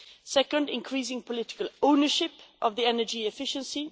secondly, increasing political ownership of energy efficiency